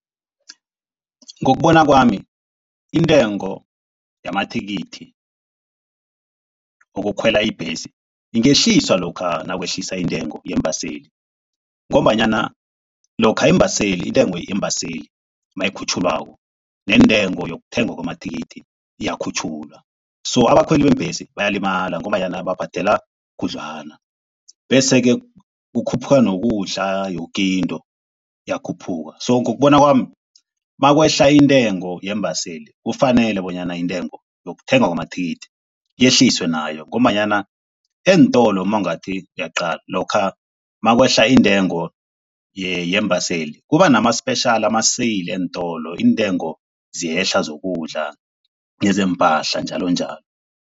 Ngokubona kwami, intengo yamathikithi wokukhwela ibhesi ingehliswa lokha nakwehliswa intengo yeembaseli ngombanyana lokha iimbaseli intengo yeembaseli mayikhutjhulwako nentengo yokuthengwa amathikithi iyakhutjhulwa. So abakhweli beembhesi bayalimala ngombanyana babhadela khudlwana bese-ke kukhuphuka nokudla yoke into iyakhuphuka. So ngokubona kwami, makwehla intengo yeembaseli kufanele bonyana intengo yokuthengwa kwamathikithi yehliswe nayo ngombanyana eentolo mawungathi uyaqala lokha makwehla intengo yeembaseli kuba nama-special, ama-sale eentolo iintengo ziyehla zokudla nezeempahla njalonjalo.